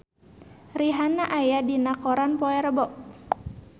Rihanna aya dina koran poe Rebo